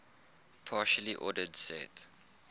partially ordered set